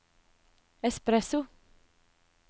espresso